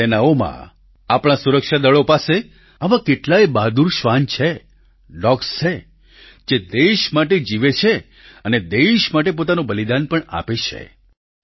આપણી સેનાઓમાં આપણા સુરક્ષાદળો પાસે આવા કેટલાયે બહાદુર શ્વાન છે ડોગ્સ છે જે દેશ માટે જીવે છે અને દેશ માટે પોતાનું બલિદાન પણ આપે છે